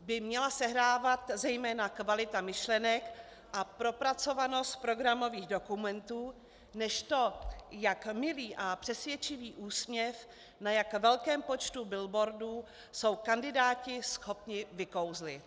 by měla sehrávat zejména kvalita myšlenek a propracovanost programových dokumentů než to, jak milý a přesvědčivý úsměv na jak velkém počtu billboardů jsou kandidáti schopni vykouzlit.